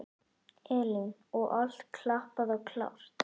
Elín: Og allt klappað og klárt?